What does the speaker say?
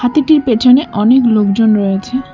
হাতিটির পেছনে অনেক লোকজন রয়েছে।